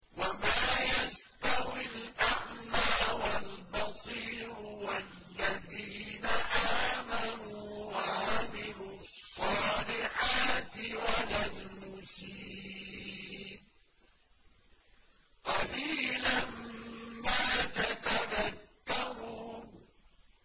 وَمَا يَسْتَوِي الْأَعْمَىٰ وَالْبَصِيرُ وَالَّذِينَ آمَنُوا وَعَمِلُوا الصَّالِحَاتِ وَلَا الْمُسِيءُ ۚ قَلِيلًا مَّا تَتَذَكَّرُونَ